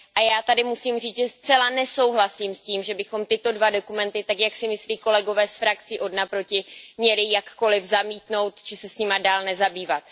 Já tady musím říct, že zcela nesouhlasím s tím, že bychom tyto dva dokumenty tak, jak si myslí kolegové z frakcí odnaproti, měli jakkoli zamítnout či se jimi dál nezabývat.